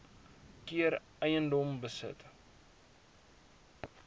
keer eiendom besit